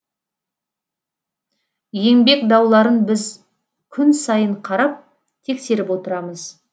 еңбек дауларын біз күн сайын қарап тексеріп отырамыз